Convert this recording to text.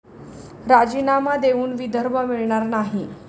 राजीनामा देऊन विदर्भ मिळणार नाही'